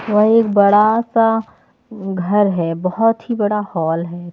और एक बड़ा सा घर है बहुत ही बड़ा हॉल है।